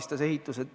Riina Sikkut, palun!